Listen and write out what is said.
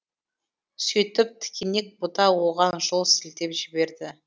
сөйтіп тікенек бұта оған жол сілтеп жіберді